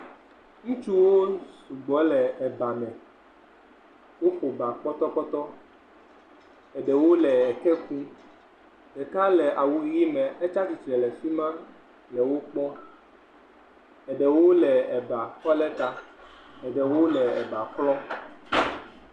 Ŋutsuwo sugbɔ le ebame. Woƒo ba pɔtɔpɔtɔ. Eɖewo le eke kum. Ɖeka le awu ʋi mɛ etsi atsitre le afi ma le wo kpɔm. Eɖewo le eba kɔ lɛ ta. Eɖewo le eba klɔm.